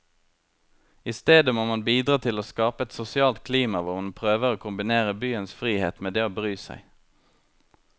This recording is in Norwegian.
I stedet må man bidra til å skape et sosialt klima hvor man prøver å kombinere byens frihet med det å bry seg.